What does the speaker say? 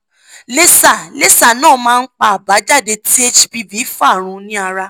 laser laser náà máa ń pa àbájáde tí hpv fa run ní ara